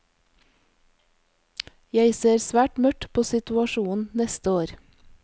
Jeg ser svært mørkt på situasjonen neste år.